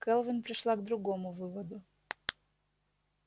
кэлвин пришла к другому выводу